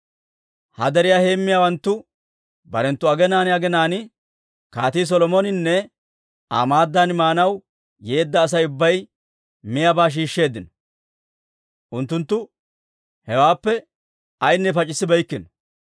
He deriyaa heemmiyaawanttu barenttu aginaan aginaan Kaatii Solomoninne Aa maaddan maanaw yeedda Asay ubbay miyaabaa shiishsheeddino. Unttunttu hewaappe ayaanne pac'issibeykkino.